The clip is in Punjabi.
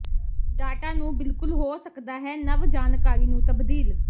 ਡਾਟਾ ਨੂੰ ਬਿਲਕੁਲ ਹੋ ਸਕਦਾ ਹੈ ਨਵ ਜਾਣਕਾਰੀ ਨੂੰ ਤਬਦੀਲ